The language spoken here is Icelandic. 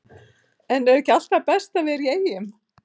En er ekki alltaf best að vera í Eyjum?